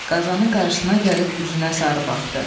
Qazanın qarşısına gəlib üzünə sarı baxdı.